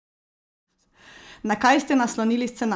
Na kaj ste naslonili scenarij?